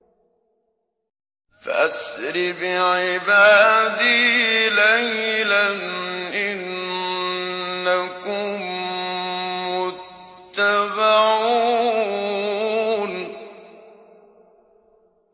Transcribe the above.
فَأَسْرِ بِعِبَادِي لَيْلًا إِنَّكُم مُّتَّبَعُونَ